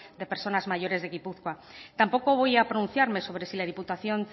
de personas mayores en gipuzkoa tampoco voy a pronunciarme sobre si la diputación